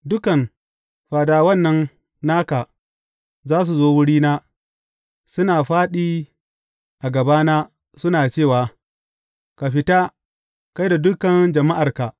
Dukan fadawan nan naka za su zo wurina, suna fāɗi a gabana suna cewa, Ka fita, kai da dukan jama’arka!’